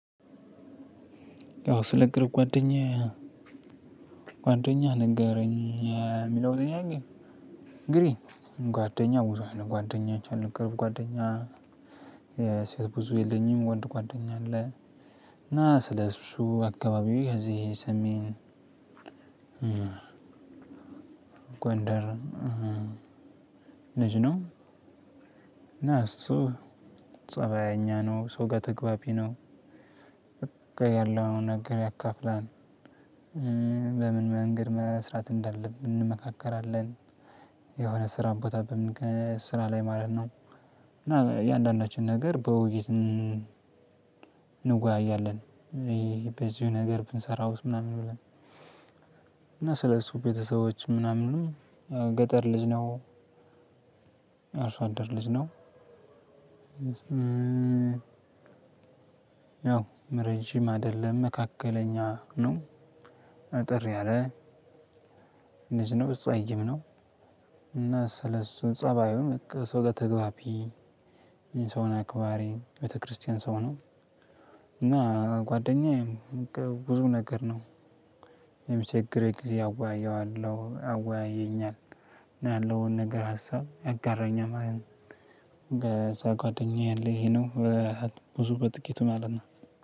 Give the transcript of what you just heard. ያው ስለ ቅርብ ጓደኛ ጓደኛህ ንገረኝ የሚለው ጥያቄ። እንግዲህ ጓደኛ ብዙ አይነት ጓደኞች አሉ ቅርብ ጓደኛ የሴት ብዙ የለኝም ወንድ ጓደኛ አለ። እና ስለሱ አካባቢ ከዚህ ሰሜን ጎንደር ልጅ ነው። እና እሱ ፀባየኛ ነው ሰው ጋር ተግባቢ ነው። በቃ ያለውን ነገር ያካፍላል። በምን መንገድ መስራት እንዳለብን እንመካከራለን የሆነ ስራ ቦታ በምንገ ስራ ላይ ማለት ነው። እና እያንዳንዳችን ነገር በውይይት እን እንወያያለን። በዚሁ ነገር ብንሰራውስ ምናምን ብለን እና ስለሱ ቤተሰቦች ምናምንም ገጠር ልጅ ነው። አርሶ አደር ልጅ ነው። ያው ምረጅም አይደለም መካከለኛ ነው። አጠር ያለ ልጅ ነው ጸይም ነው። እና ስለሱ ፀባዩ በቃ ሰው ጋር ተግባቢ የሰውን አካባሪ ቤተክርስቲያን ሰው ነው። እና ጓደኛዬ ብዙ ነገር ነው። የሚቸግረኝ ጊዜ አወያየዋለሁ አወያየኛል። ያለውን ነገር ሀሳብ ያጋራኛል ማለት ነው። እንደዛ ጓደኛዬ ያለው ይሄ ነው። ብዙ በጥቂቱ ማለት ነው።